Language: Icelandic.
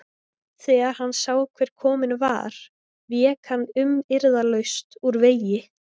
Þegar hann sá hver kominn var vék hann umyrðalaust úr vegi.